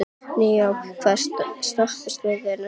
Naómí, hvaða stoppistöð er næst mér?